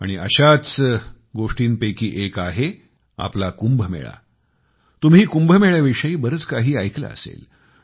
आणि अशा गोष्टींपैकीच एक आहे आपला कुंभमेळा तुम्ही कुंभमेळ्याविषयी बरंच काही ऐकलं असेल